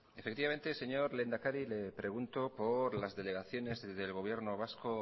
efectivamente señor lehendakari le pregunto por las delegaciones del gobierno vasco